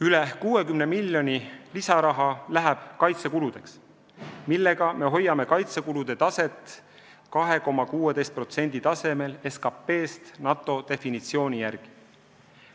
Üle 60 miljoni euro lisaraha läheb kaitsekuludeks, millega me hoiame kaitsekulusid 2,16% tasemel SKP-st NATO definitsiooni järgi.